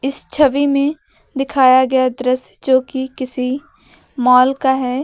इस छवि में दिखाया गया दृश्य जोकि किसी मॉल का है।